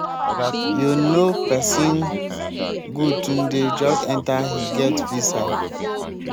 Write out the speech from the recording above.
yo know person goodtunde just enter he get visa.